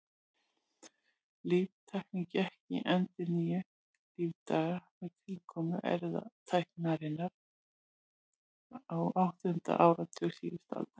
Líftæknin gekk í endurnýjun lífdaga með tilkomu erfðatækninnar á áttunda áratugi síðustu aldar.